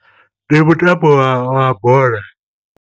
Ndi mutambo wa bola.